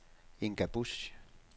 Inga Busch